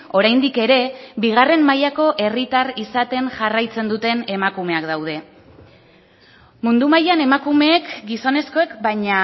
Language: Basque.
oraindik ere bigarren mailako herritar izaten jarraitzen duten emakumeak gaude mundu mailan emakumeek gizonezkoek baina